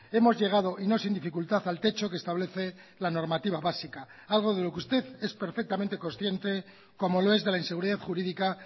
hemos llegado y no sin dificultad al techo que establece la normativa básica algo de lo que usted es perfectamente consciente como lo es de la inseguridad jurídica